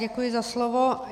Děkuji za slovo.